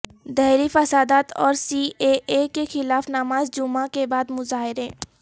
دہلی فسادات اور C A A کے خلاف نماز جمعہ کے بعد مظاہرے